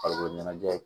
Farikolo ɲɛnajɛ ye